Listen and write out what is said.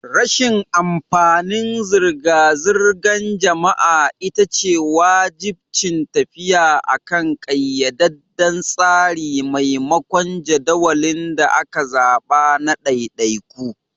Rashin amfanin zirga-zirgar jama'a ita ce wajibcin tafiya akan ƙayyadadden tsari maimakon jadawalin da aka zaɓa na ɗaiɗaiku.